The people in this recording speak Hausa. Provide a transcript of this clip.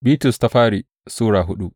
daya Bitrus Sura hudu